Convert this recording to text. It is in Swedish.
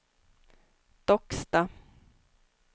Docksta